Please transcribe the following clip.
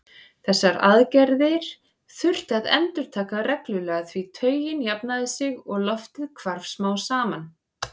Þessar aðgerðir þurfti að endurtaka reglulega því taugin jafnaði sig og loftið hvarf smám saman.